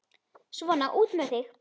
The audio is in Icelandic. Svona, út með þig!